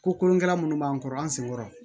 Ko kolonkɛla minnu b'an kɔrɔ an sen kɔrɔ